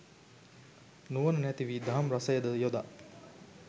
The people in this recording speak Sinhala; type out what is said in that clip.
නුවන නැති වී දහම් රසයද යොදා